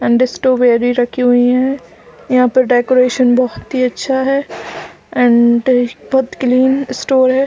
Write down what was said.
And strawberry रखी हुई है यहाँ पर डेकोरेशन बहुत ही अच्छा है एंड बहुत क्लीन स्टोर हैं।